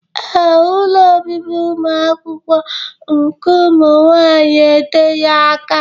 Ee, ụlọ obibi ụmụakwụkwọ nke ụmụnwaanyị eteghị aka.